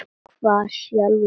Hvarf sjálfum sér.